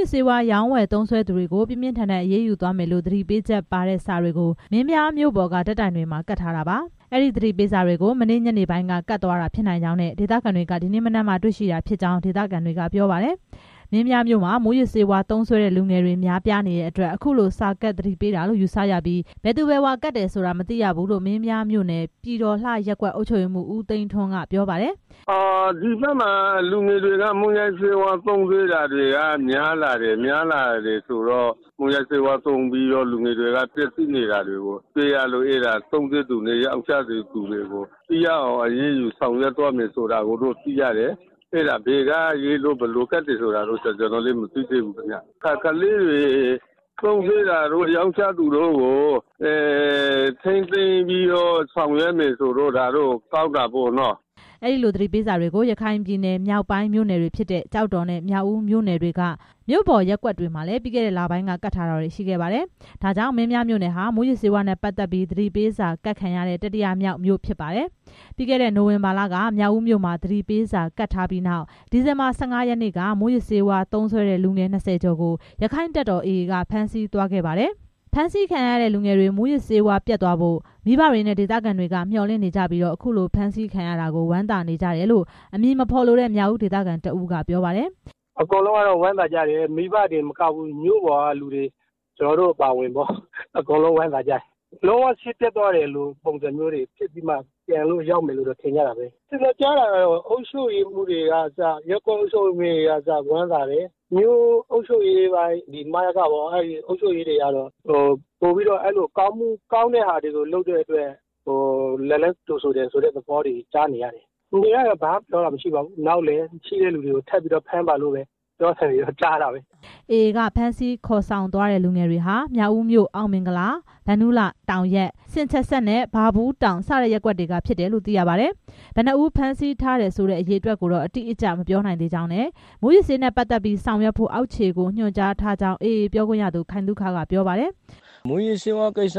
ေးဝါး ရောင်းဝယ်သုံးစွဲသူတွေကို ပြင်းပြင်းထန်ထန် အရေးယူသွားမယ်လို့ သတိပေးချက်ပါတဲ့ စာတွေကို မင်းပြားမြို့ပေါ်က ဓာတ်တိုင်တွေမှာ ကပ်ထားတာပါ။ အဲဒီသတိပေးစာကို မနေ့ညပိုင်းက ကပ်သွားတာဖြစ်နိုင်ကြောင်းနဲ့ ဒေသခံတွေက ဒီနေ့ မနက်မှ တွေ့ရှိတာဖြစ်ကြောင်း ဒေသခံတွေက ပြောပါတယ်။ မင်းပြားမြို့မှာ မူးယစ်ဆေးဝါး သုံးစွဲတဲ့လူငယ်တွေ များပြားနေတဲ့အတွက် အခုလို စာကပ် သတိပေးတာလို့ ယူဆရပြီး ဘယ်သူဘယ်ဝါ ကပ်တယ်ဆိုတာ မသိရဘူးလို့ မင်းပြားမြို့နယ် ပြည်တော်လှရပ်ကွက် အုပ်ချုပ်ရေးမှူး ဦးသိန်းထွန်းက ပြောပါတယ်။ "ဒီဘက်မှာ လူငယ်တွေ မူးယစ်ဆေးဝါး သုံးစွဲတာများလာတယ် ဆိုတော့ မူးယစ်ဆေးဝါးသုံးပြီး လူငယ်တွေ ပျက်ဆီးနေတာကို သုံးစွဲသူနဲ့ ရောင်းချသူတွေကို ထိရောက်အောင် အရေးယူဆောင်ရွက်သွားမယ်ဆိုတာတော့ သိရတယ်။ ဘယ်က ဘယ်သူ ကပ်တယ်ဆိုတာတော့ မသိသေးဘူး။ သုံးစွဲတာတို့ ရောင်းချတာတွေကို ထိန်းသိမ်းပြီးဆောင်ရွက်တာတော့ ကောင်းတာပေါ့နော့။" အဲ့ဒီလိုသတိပေးစာတွေကို ရခိုင်ပြည်နယ် မြောက်ပိုင်းမြို့နယ်တွေဖြစ်တဲ့ ကျောက်တော်နဲ့ မြောက်ဦးမြို့နယ်က မြို့ပေါ်ရပ်ကွက်တွေမှာ ပြီးခဲ့တဲ့ လပိုင်းက ကပ်ထားတာတွေရှိခဲ့ပါတယ်။ ဒါကြောင့် မင်းပြားမြို့နယ်ဟာ မူးယစ်ဆေးဝါးနဲ့ပတ်သက်ပြီး သတိပေးစာကပ်ခံရတဲ့ တတိယမြောက် မြို့ ဖြစ်ပါတယ်။ ပြီးခဲ့တဲ့ နိုဝင်ဘာလက မြောက်ဦးမြို့မှာ သတိပေးစာကပ်ထားပြီးနောက် ဒီဇင်ဘာ ၁၅ ရက်နေ့က မူးယစ်ဆေးဝါး သုံးစွဲတဲ့ လူငယ် ၂၀ ကျော်ကို ရက္ခိုင့်တပ်တော် AA က ဖမ်းဆီးသွားခဲ့ပါတယ်။ ဖမ်းဆီးခံရတဲ့လူငယ်တွေ မူးယစ်ဆေးဝါးပြတ်သွားဖို့ မိဘတွေနဲ့ ဒေသခံတွေက မျှော်လင့်နေကြပြီး အခုလို ဖမ်းဆီးခံရတာကို ဝမ်းသာနေကြတယ်လို့ အမည်မဖော်လိုတဲ့ မြောက်ဦး ဒေသခံတစ်ဦးက ပြောပါတယ်။ လူတွေကတော့ ဘာမှမပြောပါဘူး နောက်လည်းထပ်ပြီးဖမ်းပါလို့ ပြောနေသံကြားတာပဲ “အကုန်လုံးဝမ်းသာကြတယ်၊ မိဘတွေတင်မကဘူး မြို့ပေါ်ကလူတွေ ကျနော်တို့ အပါအဝင်ပေါ့ အကုန်လုံး ဝမ်းသာကြတယ်။ လုံးဝဆေးပြတ်ပြီးမှ ပြန်ရောက်လာမယ် လို့တော့ ထင်ကြတာပဲ။ ကျနော်ကြားတာတော့ အုပ်ချုပ်ရေးပိုင်း ရပ်ကွက်အုပ်ချုပ်ရေးမှူးတွေကအစ ဝမ်းသာတယ်၊ မြို့အုပ်ချုပ်ရေးမှူးတွေကတော့ ကောင်းတဲ့ဟာကို လုပ်တဲ့အတွက် ကြိုဆိုတယ်လို့ ပြောသံကြားတယ်။ လူတွေကတော့ ဘာမှမပြောပါဘူး နောက်လည်းထပ်ပြီးဖမ်းပါလို့ ပြောနေသံကြားတာပဲ။” AA က ဖမ်းဆီးခေါ်ဆောင်သွားတဲ့ လူငယ်တွေဟာ မြောက်ဦးမြို့ အောင်မင်္ဂလာ၊ ဗန္ဓုလ၊ တောင်ရပ်၊ ဆင်ချဆပ်နဲ့ ဘာဘူးတောင် စတဲ့ရပ်ကွက်တွေက ဖြစ်တယ်လို့ သိရပါတယ်။ ဘယ်နှစ်ဦးဖမ်းဆီးထားတယ်ဆိုတဲ့ အရေအတွက်ကိုတော့ အတိအကျမပြောနိုင်သေးကြောင်းနဲ့ မူးယစ်ဆေးနဲ့ပတ်သက်ပြီး ဆောင်ရွက်ဖို့ အောက်ခြေကို ညွှန်ကြားထားကြောင်း AA ပြောခွင့်ရသူ ခိုင်သုခ က ပြောပါတယ်။ “မူးယစ်ဆေးဝါးကြောင့် အကျ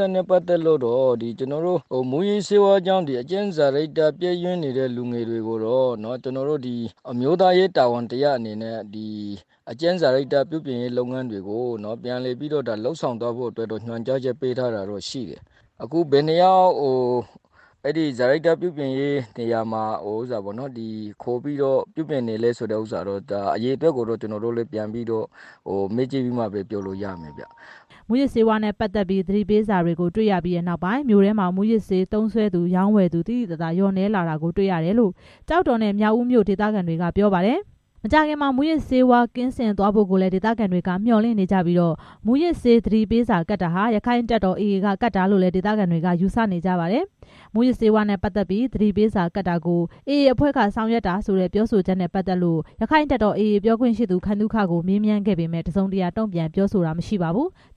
င့်စာရိတ္တ ပျက်စီးနေတဲ့ လူငယ်တွေ ကို အမျိုးသားရေး တာဝန်တစ်ရပ်အနေနဲ့ အကျင့်စာရိတ္တ ပြုပြင်ပေးဖို့ ပြန်လည်လုပ်ဆောင်သွားဖို့ ညွှန်ကြားချက် ပေးထားတာရှိတယ် အခုဘယ်နှစ်ယောက် အကျင့်စာရိတ္တ ပြင်ပေးနေရတယ်ဆိုတာကိုတော့ ပြန်မေးမှပဲသိရမယ်။” မူးယစ်ဆေးနဲ့ပတ်သက်ပြီး သတိပေးစာတွေ တွေ့ရပြီးနောက်ပိုင်း မြို့ထဲမှာ မူးယစ်ဆေးသုံးစွဲသူ ရောင်းဝယ်သူ သိသိသာသာ လျှော့နည်းလာတာကိုတွေ့ရတယ်လို့ ကျောက်တော်နဲ့ မြောက်ဦးမြို့ ဒေသခံတွေက ပြောပါတယ်။ မကြာခင်မှာ မူးယစ်ဆေးကင်းစင်သွားဖို့ကိုလည်း ဒေသခံတွေက မျှော်လင့်နေကြပြီး မူးယစ်ဆေးသတိပေးစာ ကပ်တာဟာ ရက္ခိုင့်တပ်တော် AA က ကပ်တာလို့လည်း ဒေသခံတွေက ယူဆနေကြပါတယ်။ မူးယစ်ဆေးနဲ့ ပတ်သက်ပြီး သတိပေးစာကပ်တာကို AA အဖွဲ့က ဆောင်ရွက်တာဆိုတဲ့ ပြောဆိုချက်နဲ့ ပတ်သက်လို့ ရက္ခိုင့်တပ်တော် AA ပြောရေးဆိုခွင့်ရှိသူ ခိုင်သုခကို မေးမြန်းခဲ့ပေမယ့် တစ်စုံတစ်ရာ တုံ့ပြန်ပြောဆိုခြင်းမရှိပါဘူး။